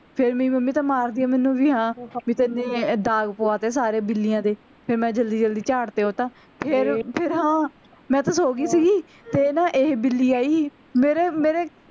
ਫੇਰ ਮੇਰੀ ਮੰਮੀ ਤਾਂ ਮਾਰਦੀ ਆ ਮੈਂਨੂੰ ਵੀ ਹਾਂ ਤੂੰ ਦਾਗ ਪਵਾਤੇ ਸਾਰੇ ਬਿੱਲੀਆਂ ਦੇ ਫੇਰ ਮੈਂ ਜਲਦੀ ਜਲਦੀ ਝਾੜ ਤੇ ਓਹ ਤਾਂ ਫੇਰ ਫੇਰ ਹਾਂ ਮੈਂ ਤਾਂ ਸੋ ਗਈ ਸੀਗੀ ਤੇ ਨਾ ਇਹ ਬਿੱਲੀ ਆਈ ਮੇਰਾ ਮੇਰੇ